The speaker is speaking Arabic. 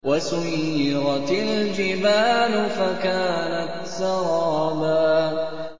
وَسُيِّرَتِ الْجِبَالُ فَكَانَتْ سَرَابًا